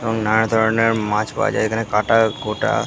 এবং নানা ধরণের মাছ মাছ পাওয়া যায় এখানে কাটা কুটা--